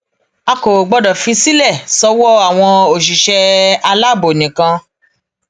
a kò gbọdọ fi sílẹ sọwọ àwọn òṣìṣẹ aláàbò nìkan